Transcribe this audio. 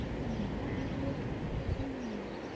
அதனால அப்டியே போது ஹ்ம்ம்.